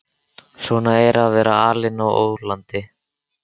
Svona er að vera alinn á ólandi.